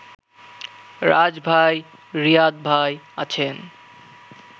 রাজভাই , রিয়াদভাই আছেন